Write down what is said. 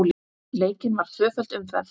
Leikin var tvöföld umferð.